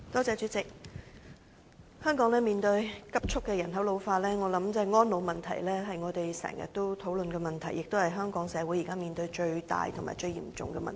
主席，香港人口正急速老化，因此我認為我們經常討論的安老問題，是香港社會現時所面對最大及最嚴重的問題。